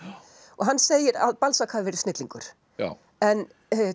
og hann segir að Balzac hafi verið snillingur en